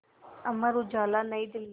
Amar Ujala New Delhi